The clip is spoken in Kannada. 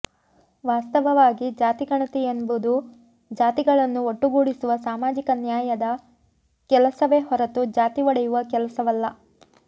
ವಾಸ್ತವವಾಗಿ ಜಾತಿ ಗಣತಿ ಎಂಬುದು ಜಾತಿಗಳನ್ನು ಒಟ್ಟುಗೂಡಿಸುವ ಸಾಮಾಜಿಕ ನ್ಯಾಯದ ಕೆಲಸವೇ ಹೊರತು ಜಾತಿ ಒಡೆಯುವ ಕೆಲಸವಲ್ಲ